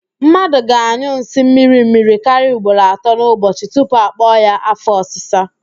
Mmadụ ga-anyụ nsị mmirimmiri karịa ugboro atọ n'ụbọchị tupu akpọ ya afọ ọsịsa